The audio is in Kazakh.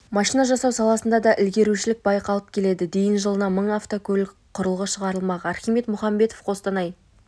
машина жасау саласында да ілгерушілік байқалып келеді дейін жылына мың автокөлік құралы шығарылмақ архимед мұхамбетов қостанай